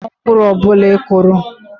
Ị ga-aghọrọ mkpụrụ ọ bụla ị kụrụ.